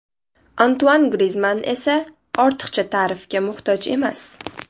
Antuan Grizmann esa ortiqcha ta’rifga muhtoj emas.